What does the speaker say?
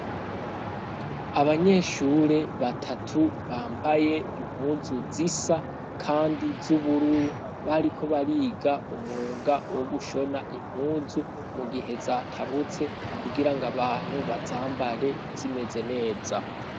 Abanyeshure batatu bambaye impuzu zisa kandi z'ubururu. Bariko bariga umwuga wo gushona impuzu mu gihe zatabutse kugira ngo abantu bazambare zimeze neza.